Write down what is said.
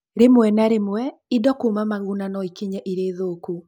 Rĩmwe na rĩmwe, indo kuuma Maguna no ikinye irĩ thũku.